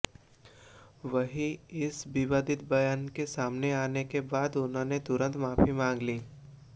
वहीं इस विवादित बयान के सामने आने के बाद उन्होंने तुरंत माफी मांग ली